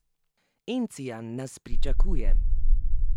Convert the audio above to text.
Encijan nas pričakuje!